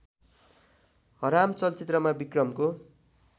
हराम चलचित्रमा विक्रमको